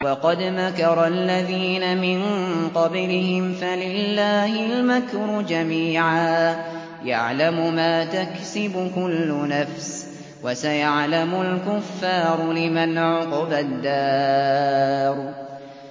وَقَدْ مَكَرَ الَّذِينَ مِن قَبْلِهِمْ فَلِلَّهِ الْمَكْرُ جَمِيعًا ۖ يَعْلَمُ مَا تَكْسِبُ كُلُّ نَفْسٍ ۗ وَسَيَعْلَمُ الْكُفَّارُ لِمَنْ عُقْبَى الدَّارِ